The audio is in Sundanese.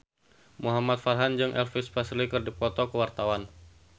Muhamad Farhan jeung Elvis Presley keur dipoto ku wartawan